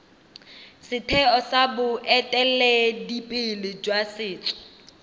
setheo sa boeteledipele jwa setso